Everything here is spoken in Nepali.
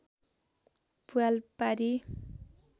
प्वाल पारी